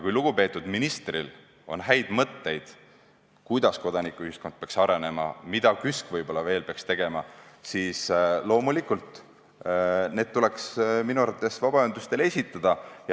Kui lugupeetud ministril on häid mõtteid, kuidas kodanikuühiskond peaks arenema ja mida KÜSK võib-olla veel peaks tegema, siis loomulikult tuleks need minu arvates vabaühendustele esitada.